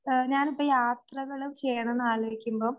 ആഹ് ഞാനിപ്പം യാത്രകള് ചെയ്യണമെന്ന് ആലോചിക്കുമ്പം